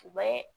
U bɛ